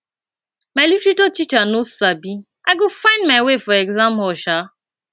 my literature teacher no sabi i go find my way for exam hall shaa